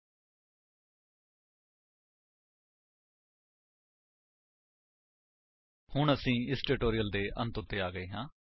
http spoken tutorial org ਨਮੈਕਟ intro ਹੁਣ ਅਸੀ ਇਸ ਟਿਊਟੋਰਿਅਲ ਦੇ ਅੰਤ ਵਿੱਚ ਆ ਗਏ ਹਾਂ